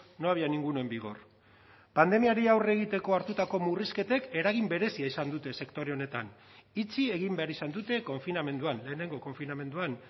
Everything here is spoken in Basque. no había ninguno en vigor pandemiari aurre egiteko hartutako murrizketek eragin berezia izan dute sektore honetan itxi egin behar izan dute konfinamenduan lehenengo konfinamenduan